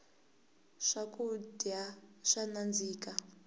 swakudya swa nandzika